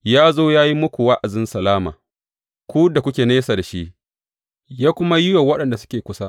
Ya zo ya yi muku wa’azin salama; ku da kuke nesa da shi, ya kuma yi wa waɗanda suke kusa.